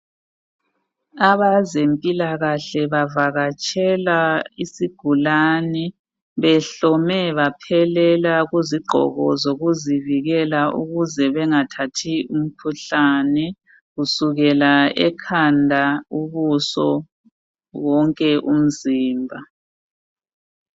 Abezempilakahle bavakatshela isigulane, behlome baphelela kuzigqoko zokuzivikela ukuze bengathathi umkhuhlane kusukela ekhanda ubuso wonke umzimba.